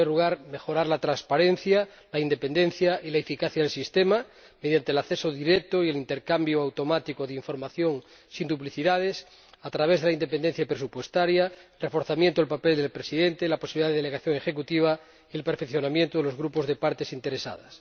En primer lugar, mejorar la transparencia, la independencia y la eficacia del Sistema, mediante el acceso directo y el intercambio automático de información, sin duplicidades, a través de la independencia presupuestaria, el reforzamiento del papel del presidente, la posibilidad de delegación ejecutiva y el perfeccionamiento de los grupos de partes interesadas.